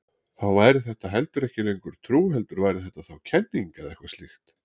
Þá væri þetta heldur ekki lengur trú heldur væri þetta þá kenning eða eitthvað slíkt.